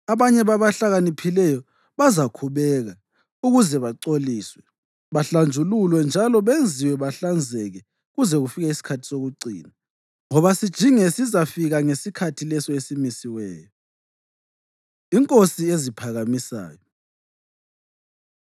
Abanye babahlakaniphileyo bazakhubeka, ukuze bacoliswe, bahlanjululwe njalo benziwe bahlanzeke kuze kufike isikhathi sokucina, ngoba sijinge sizafika ngesikhathi leso esimisiweyo.” Inkosi Eziphakamisayo